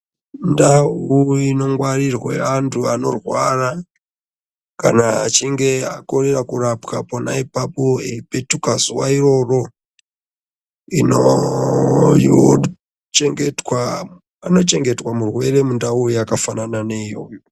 Ndawo inongwarirwe antu anorwarwa, kana achinge akona kurapwa ipapo eyipetuka pazuwa iroro, inochengetwa murwerwe pandawo yakafanana ne iyoyo.